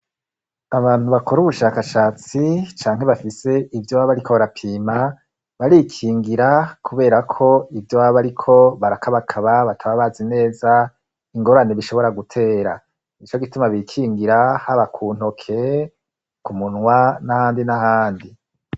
Abantu bakora ubushakashatsi canke bafise ivyo baba bariko barapima, barikingira kubera ko ivyo baba bariko barakabakaba bataba bazi neza ingorani bishobora gutera. Nico gituma bikingira haba ku ntoke ku munwa n'ahandi n'ahandi.